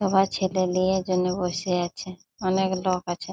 সবার ছেলে লিয়ের জন্যে বসে আছে। অনেক লোক আছে।